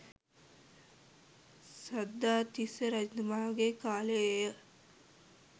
සද්ධාතිස්ස රජතුමාගේ කාලයේ ය.